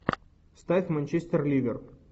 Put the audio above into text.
ставь манчестер ливер